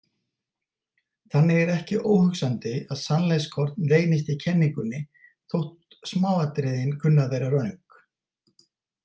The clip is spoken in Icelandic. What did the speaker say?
Þannig er ekki óhugsandi að sannleikskorn leynist í kenningunni þótt smáatriðin kunni að vera röng.